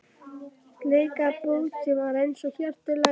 Bleika bók sem var eins og hjarta í laginu?